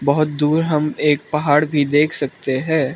बहोत दूर हम एक पहाड़ भी देख सकते हैं।